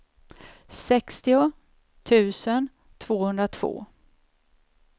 sextio tusen tvåhundratvå